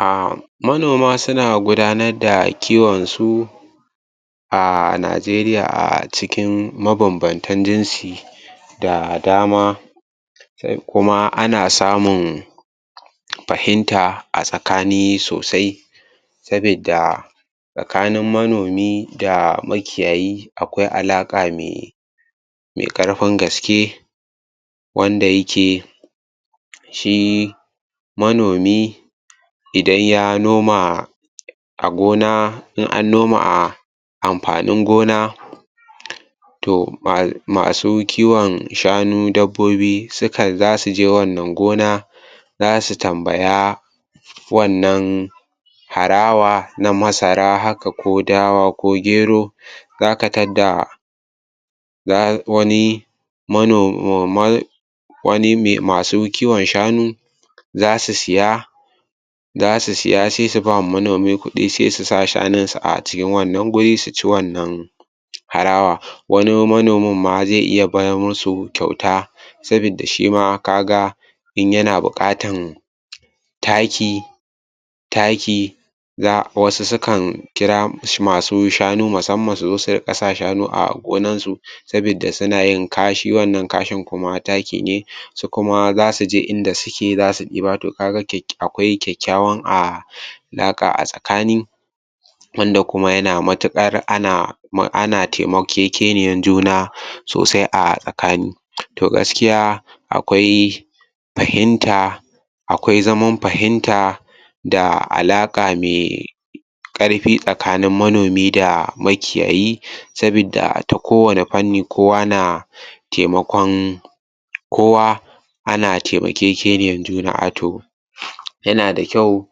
A manoma suna gudanar da kiwonsu a Najeriya a cikin mabambantan jinsi da dama da kuma na samun fahinta a tsakani sosai sabidda tsakanin manomi da makiyayi akwai alaƙa mai mai ƙarfin gaske wanda yake shi manomi idan ya noma a gona in an noma amfanin gona to masu kiwon shanu dabbobi sukan za su je wannan gona, za su tambaya wannan harawa na masara haka ko dawa ko gero, za ka tadda za wani mano in ma wani mai masu kiwon shanu za su siya za su siya sai su ba manomi kuɗi sai su sa shanunsu a cikin wannan guri su ci wannan harawa wani manomin ma zai iya bar musu kyauta sabidda shi ma ka ga in yana buƙatan taki taki za wasu sukan kira masu shanu musamman su riƙa sa shanu a gonansu sabidda suna yin kashi wanna kashin kuma taki ne su kuma za su je in da suke za su ɗiba ko ta gani akwai kyakkyawan a alaƙa a tsakani. wanda kuma yana matuƙar ana taimakekeniyar juna sosai a tsakani to gaskiya akwai fahimta akwai zaman fahimta da alaƙa mai ƙarfi tsakanin manomi da makiyayi saboda ta kowane fanni kowa na taimakon kowa ana taimakekeniyar juna a to yana da kyau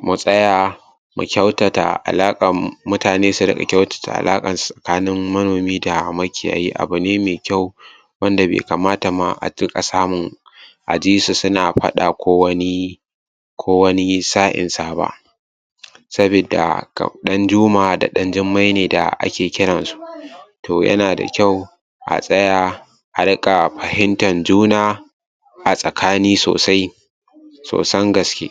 mu tsaya mu kyautata alaƙan, mutane su riƙa kyautata alaƙansu tsakanin manomi da makiyayi abu ne mai kyau wanda bai kamata ba a riƙa samun, a ji su suna faɗa ko wani ko wani sa'insa ba. sabidda ɗanjuma da ɗanjummai ne ake kiransu. to yana da kyau a tsaya a riƙa fahimtar juna, a tsakani sosai sosan gaske.